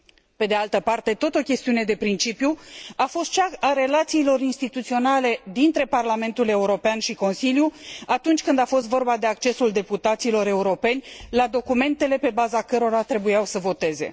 Pe de altă parte, tot o chestiune de principiu a fost cea a relațiilor instituționale dintre Parlamentul European și Consiliu atunci când a fost vorba de accesul deputaților europeni la documentele pe baza cărora trebuiau să voteze.